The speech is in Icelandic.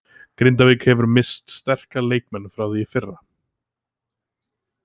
Grindavík hefur misst sterka leikmenn frá því í fyrra.